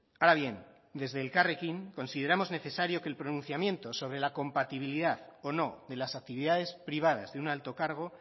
ahora bien desde elkarrekin consideramos necesario que el pronunciamiento sobre la compatibilidad o no de las actividades privadas de un alto cargo